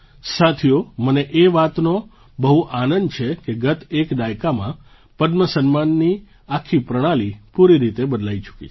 સાથીઓ મને એ વાતનો બહુ આનંદ છે કે ગત એક દાયકામાં પદ્મ સન્માનની આખી પ્રણાલિ પૂરી રીતે બદલાઈ ચૂકી છે